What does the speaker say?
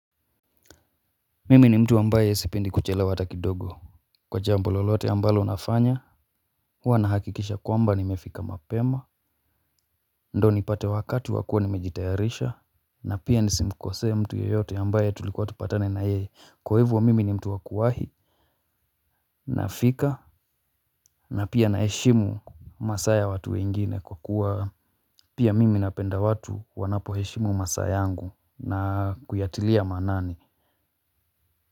Mimi ni mtu ambaye sipendi kuchelewa ata kidogo. Kwa jambo lolote ambalo nafanya hua nahakikisha kwamba nimefika mapema. Ndo nipate wakati wakua nimejitayarisha. Na pia nisimkosee mtu yeyote ambaye tulikuwa tupatane na yeye. Kwa hivo mimi ni mtu wakuwahi. Nafika na pia naheshimu masaa ya watu wengine kwa kuwa pia mimi napenda watu wanapo heshimu masaa yangu na kuyatilia manani.